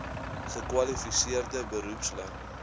gekwali seerde beroepslui